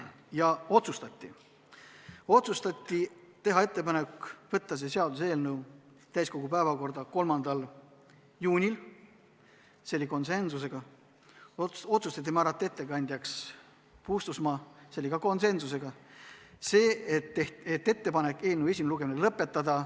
Ja veel otsustati teha ettepanek võtta see seaduseelnõu täiskogu päevakorda 3. juuniks , määrata ettekandjaks Puustusmaa ja eelnõu esimene lugemine lõpetada.